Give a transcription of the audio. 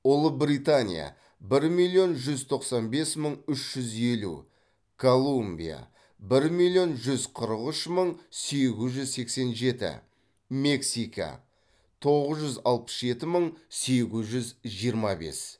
ұлыбритания бір миллион жүз тоқсан бес мың үш жүз елу колумбия бір миллион жүз қырық үш мың сегіз жүз сексен жеті мексика тоғыз жүз алпыс жеті мың сегіз жүз жиырма бес